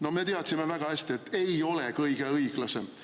No me teadsime väga hästi, et ei ole kõige õiglasem.